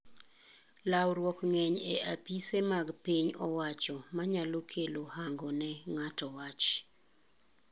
Lawruok ng'eny e apise mag piny owacho manyalo kelo hango ne ng'ato wach.